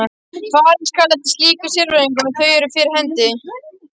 Farið skal eftir slíkum sérákvæðum ef þau eru fyrir hendi.